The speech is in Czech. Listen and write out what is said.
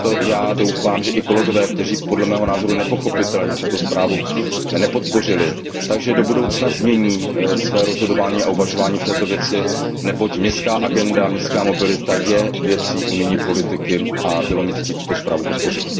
Proto já doufám, že i kolegové, kteří podle mého názoru nepochopitelně tuto zprávu nepodpořili, do budoucna změní své rozhodování a uvažování v této věci, neboť městská agenda, městská mobilita je věcí unijní politiky a bylo mi ctí tuto zprávu podpořit.